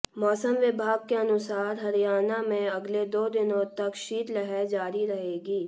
मौसम विभाग के अनुसार हरियाणा में अगले दो दिनों तक शीत लहर जारी रहेगी